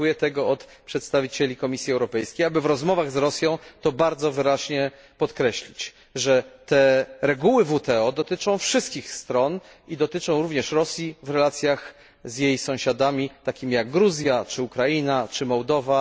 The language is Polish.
Ja oczekuję od przedstawicieli Komisji Europejskiej, aby w rozmowach z Rosją to bardzo wyraźnie podkreślić, że te reguły WTO dotyczą wszystkich stron i dotyczą również Rosji w relacjach z jej sąsiadami, takimi jak Gruzja, Ukraina czy Mołdowa.